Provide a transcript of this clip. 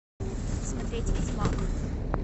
смотреть ведьмак